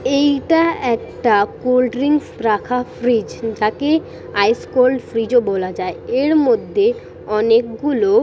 এটা একটা cold drinks রাখা ফ্রিজ যাকে আইস কোল্ড ফ্রিজ ও বলা যায় এর মধ্যে অনেকগুলো।